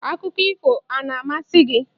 Akụkọ ifo a na-amasị gị?